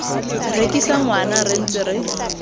rekisa ngwana re ntse re